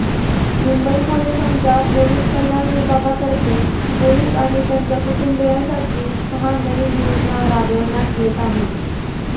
मुंबई पोलिसांच्या पोलीस कल्याण विभागातर्फे पोलीस आणि त्यांच्या कुटुंबियांसाठी सहा नवीन योजना राबविण्यात येत आहेत